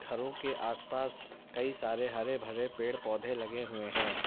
घरों के आसपास कई सारे हरे भरे पेड़ पौधे लगे हुए हैं।